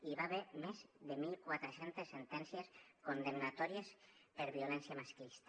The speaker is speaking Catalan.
hi va haver més de mil quatre cents sentències condemnatòries per violència masclista